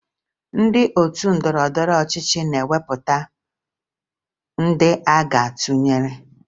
Ndị otu ndọrọndọrọ ọchịchị na-ewepụta ndị aga atụnyere